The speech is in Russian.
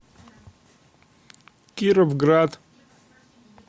кировград